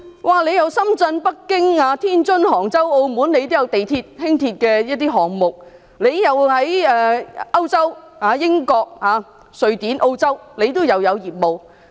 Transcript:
它在深圳、北京、天津、杭州及澳門，也有地鐵及輕鐵的項目；遠在歐洲的英國、瑞典及澳洲，都有業務。